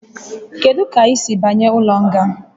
Kedu ka ị siri banye n'ụlọ nga?